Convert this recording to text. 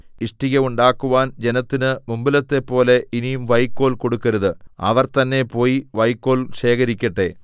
ഇഷ്ടിക ഉണ്ടാക്കുവാൻ ജനത്തിന് മുമ്പിലത്തെപ്പോലെ ഇനി വൈക്കോൽ കൊടുക്കരുത് അവർ തന്നെ പോയി വൈക്കോൽ ശേഖരിക്കട്ടെ